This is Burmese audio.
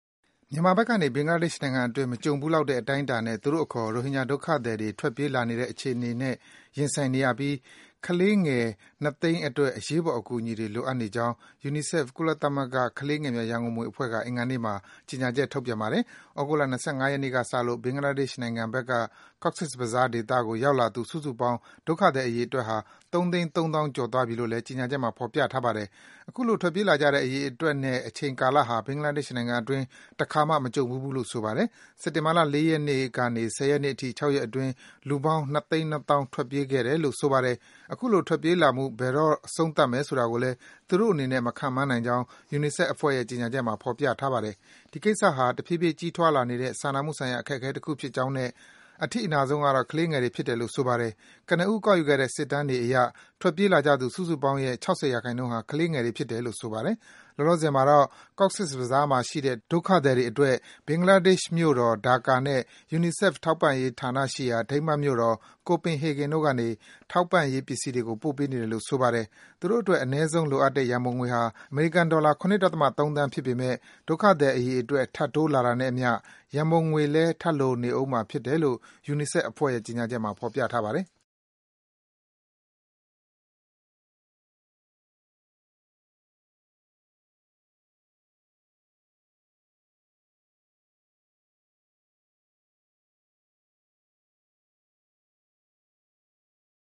မြန်မာဘက်ကနေ ဘင်္ဂလားဒေ့ရှ် နိုင်ငံအတွင်း မကြုံဘူးလောက်တဲ့ အတိုင်းအတာနဲ့ သူတို့အခေါ် ရိုဟင်ဂျာ ဒုက္ခသည်တွေ ထွက်ပြေး လာနေတဲ့ အခြေအနေနဲ့ ရင်ဆိုင်နေရပြီး ကလေးငယ် ၂၀၀,၀၀၀ အတွက် အရေးပေါ် အကူအညီတွေ လိုအပ်နေကြောင်း UNICEF - ကုလသမဂ္ဂ ကလေးငယ်များ ရံပုံငွေအဖွဲ့က အင်္ဂါနေ့မှာ ကြေညာချက် ထုတ်ပြန်ပါတယ်။ သြဂုတ်လ ၂၅ ရက်နေ့က စလို့ ဘင်္ဂလားဒေ့ရှ် နိုင်ငံဘက်က Cox’s Bazaar ဒေသကို ရောက်လာသူ စုစုပေါင်း ဒုက္ခသည် အရေအတွက်ဟာ ၃၃၀,၀၀၀ ကျော်သွာားပြီလို့လည်း ကြေညာချက်မှာ ဖော်ပြထားပါတယ်။ အခုလို ထွက်ပြေးလာကြတဲ့ အရေအတွက်နဲ့ အချိန်ကာလဟာ ဘင်္ဂလားဒေ့ရှ် နိုင်ငံအတွင်း တခါမှ မကြုံဖူးဘူးလို့ ဆိုပါတယ်။ စက်တင်ဘာ ၄ ရက်ကနေ ၁၀ နေ့အထိ ၆ ရက်အတွင်း လူပေါင်း ၂၂၀,၀၀၀ ထွက်ပြေးခဲ့ကြတယ်လို့ ဆိုပါတယ်။ အခုလို ထွက်ပြေးလာမှု ဘယ်တော့ အဆုံးသတ်မယ် ဆိုတာကိုလည်း သူတို့အနေနဲ့ မခန့်မှန်းနိုင်ကြောင်း ယူနီဆက်ဖ် အဖွဲ့ရဲ့ ကြေညာချက်မှာ ဖော်ပြထားပါတယ်။ ဒီကိစ္စဟာ တဖြည်းဖြည်း ကြီးထွားလာနေတဲ့ စာနာမှုဆိုင်ရာ အခက်အခဲ တခု ဖြစ်ကြောင်းနဲ့ အထိအနာဆုံး ကတော့ ကလေးငယ်တွေ ဖြစ်တယ်လို့ ဆိုပါတယ်။ ကနဦး ကောက်ယူခဲ့တဲ့ စစ်တမ်းတွေအရ ထွက်ပြေးလာကြသူ စုစုပေါင်းရဲ့ ၆၀ ရာခိုင်နှုန်း ဟာ ကလေးငယ်တွေ ဖြစ်တယ်လို့ ဆိုပါတယ်။ လောလောဆယ်မှာတော့ Cox’s Bazaar မှာ ရှိတဲ့ ဒုက္ခသည်တွေ အတွက် ဘင်္ဂလားဒေ့ရှ် မြို့တော် ဒါကာနဲ့ ယူနီဆက်ဖ် ထောက်ပံ့ရေး ဌာနရှိရာ ဒိန်းမတ်နိုင်ငံ မြို့တော် Copenhagen တို့ကနေ ထောက်ပံ့ရေး ပစ္စည်းတွေကို ပို့ပေးနေတယ်လို့ ဆိုပါတယ်။ သူတို့အတွက် အနည်းဆုံး လိုအပ်တဲ့ ရံပုံငွေဟာ အမေရိကန် ဒေါ်လာ ၇ ဒသမ ၃ သန်း ဖြစ်ပေမယ့် ဒုက္ခသည် အရေအတွက် ထပ်တိုးလာတာနဲ့ အမျှ ရံပုံငွေလည်း ထပ်လိုနေဦးမှာ ဖြစ်တယ်လို့ ယူနီဆက်ဖ်ရဲ့ကြေညာချက်မှာ ဖော်ပြထားပါတယ်။